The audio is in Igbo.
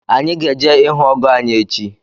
anyị ga-eje ihụ ọgọ anyị echi